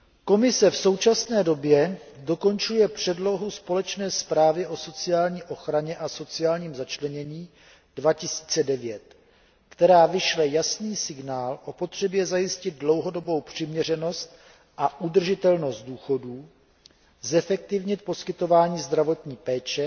Komise v současné době dokončuje předlohu společné zprávy o sociální ochraně a sociálním začlenění 2009, která vyšle jasný signál o potřebě zajistit dlouhodobou přiměřenost a udržitelnost důchodů, zefektivnit poskytování zdravotní péče